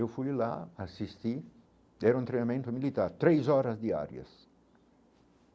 Eu fui lá assistir, era um treinamento militar, três horas diárias.